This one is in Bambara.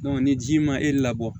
ni ji ma e labɔ